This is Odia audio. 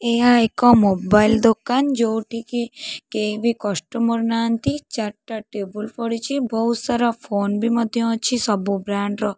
ଏହା ଏକ ମୋବାଇଲ୍ ଦୋକାନ ଯୋଉଠିକି କେହି ବି କଷ୍ଟୁମର ନାହାଁନ୍ତି ଚାରିଟା ଟେବୁଲ୍ ପଡ଼ିଛି ବହୁତ୍ ସାରା ଫୋନ୍ ବି ମଧ୍ୟ ଅଛି ସବୁ ବ୍ରାଣ୍ଡ ର।